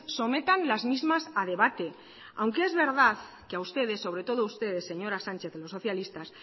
sometan las mismas a debate aunque es verdad que a ustedes sobre todo a ustedes señora sánchez y los socialistas